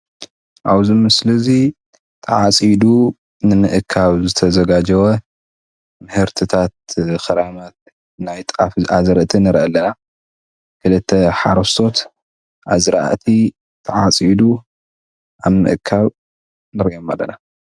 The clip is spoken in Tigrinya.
ኣብዚ ምስሊ እዚ ተዓፂዲ ንምእካብ ዝተዘጋጀወ ምህርታት ክራማት ናይ ጣፍ ኣዝርእቲ ንርኢ ኣለና። ክልተ ሓረስቶት ኣዝራእቲ ተዓፂዱ ኣብ ምእካብ ንሪኦም ኣለና።